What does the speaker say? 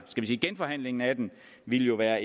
vi sige genforhandlingen af den ville være